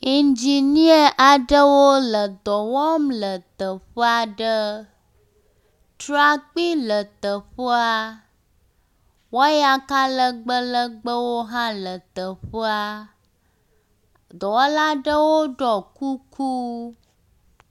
Ŋginia aɖewo dɔ wɔm le teƒe aɖe. Trakpui le teƒea, wayaka legbẽ legbẽwo hã le teƒea. Dɔwɔla aɖewo ɖɔ kuku.